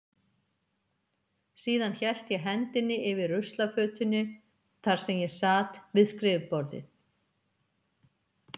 Síðan hélt ég hendinni yfir ruslafötunni þar sem ég sat við skrifborðið.